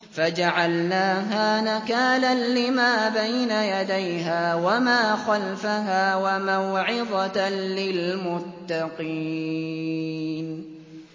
فَجَعَلْنَاهَا نَكَالًا لِّمَا بَيْنَ يَدَيْهَا وَمَا خَلْفَهَا وَمَوْعِظَةً لِّلْمُتَّقِينَ